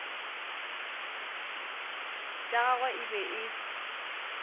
tša gagwe e be e